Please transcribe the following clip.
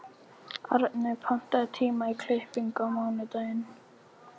Arney, pantaðu tíma í klippingu á mánudaginn.